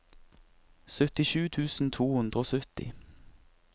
syttisju tusen to hundre og sytti